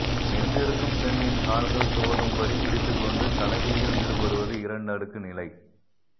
நின்றிருக்கும் பெண்ணின் கால்கள் துவளும் படி பிடித்துக்கொண்டு கலவியில் ஈடுபடுவது இரண்டு அடுக்கு நிலை